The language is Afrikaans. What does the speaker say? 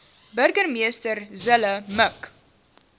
burgemeester zille mik